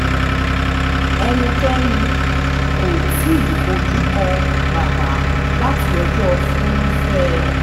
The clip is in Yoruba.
ẹnikẹ́ni kò tí ì fojú kan bàbà láti ọjọ́ furuufee